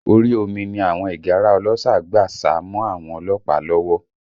Orí omi ni àwọn ìgárá ọlọ́ṣà gbà sá mọ́ àwọn ọlọ́pàá lọ́wọ́